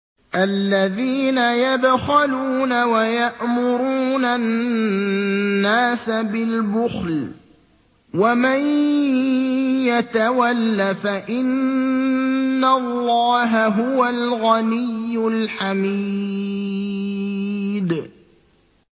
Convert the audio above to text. الَّذِينَ يَبْخَلُونَ وَيَأْمُرُونَ النَّاسَ بِالْبُخْلِ ۗ وَمَن يَتَوَلَّ فَإِنَّ اللَّهَ هُوَ الْغَنِيُّ الْحَمِيدُ